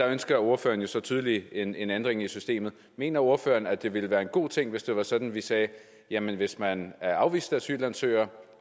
ønsker ordføreren så tydeligvis en en ændring i systemet mener ordføreren at det ville være en god ting hvis det var sådan at vi sagde jamen hvis man er afvist asylansøger